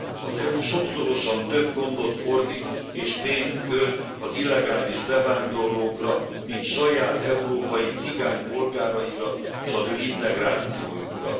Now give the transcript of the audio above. Az EU sokszorosan több gondot fordít és pénzt költ az illegális bevándorlókra, mint saját európai cigány polgáraira, s az ő integrációjukra.